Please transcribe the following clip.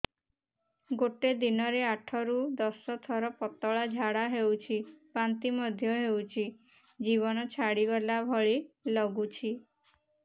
ଗୋଟେ ଦିନରେ ଆଠ ରୁ ଦଶ ଥର ପତଳା ଝାଡା ହେଉଛି ବାନ୍ତି ମଧ୍ୟ ହେଉଛି ଜୀବନ ଛାଡିଗଲା ଭଳି ଲଗୁଛି